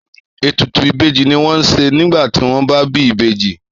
Ètùtù ìbejì ni wọ́n ń ṣe nígbà tí wọ́n bá bí ìbejì.